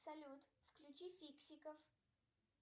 салют включи фиксиков